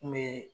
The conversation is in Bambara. N kun be